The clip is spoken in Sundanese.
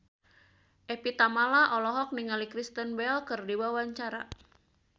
Evie Tamala olohok ningali Kristen Bell keur diwawancara